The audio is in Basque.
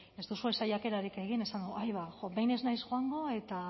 ez duzue saiakerarik egin esan dut aiba behin ez naiz joango eta